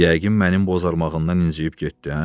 Yəqin mənim bozarmağımdan inciyib getdi, hə?